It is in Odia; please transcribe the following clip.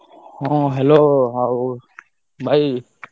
ହଁ hello ଆଉ ଭାଇ।